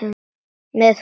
Með hvað?